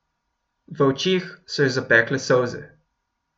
V očeh so jo zapekle solze.